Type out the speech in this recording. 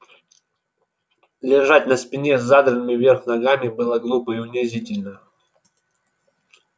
лежать на спине с задранными вверх ногами было глупо и унизительно